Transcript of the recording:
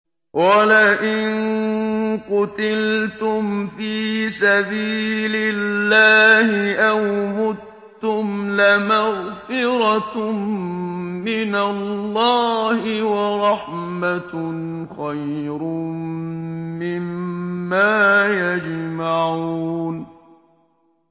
وَلَئِن قُتِلْتُمْ فِي سَبِيلِ اللَّهِ أَوْ مُتُّمْ لَمَغْفِرَةٌ مِّنَ اللَّهِ وَرَحْمَةٌ خَيْرٌ مِّمَّا يَجْمَعُونَ